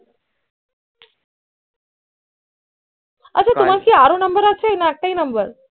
আচ্ছা তোমার কি আরও number আছে না একটাই number